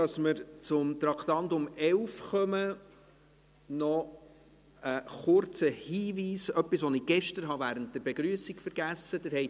Bevor wir zum Traktandum 11 kommen, noch ein kurzer Hinweis – etwas, das ich gestern während der Begrüssung vergessen habe.